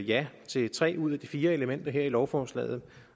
ja til tre ud af de fire elementer her i lovforslaget